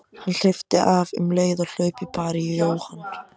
Hann hleypti af um leið og hlaupið bar í Jóhann.